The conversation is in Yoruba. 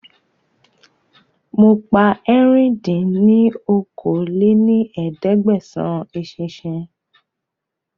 Mo pa ẹ̀rin dín ní okòó-lé-ní-ẹ̀ẹ́dẹ́gbẹ́sán eṣinṣin